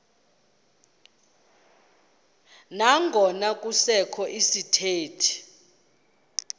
nangona kusekho izithethi